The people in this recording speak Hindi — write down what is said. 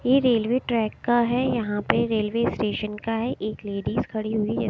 ये रेलवे ट्रैक का है यहां पे रेलवे स्टेशन का है एक लेडीज खड़ी हुई है ।